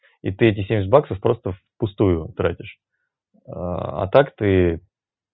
и ты эти семьдесят баксов просто впустую тратишь а так ты